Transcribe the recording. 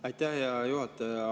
Aitäh, hea juhataja!